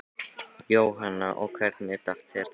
Jóhanna: Og hvernig datt þér það í hug?